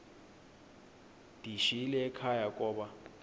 ndiyishiyile ekhaya koba